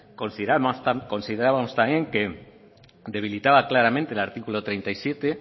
consideramos también que debilitaba claramente el artículo treinta y siete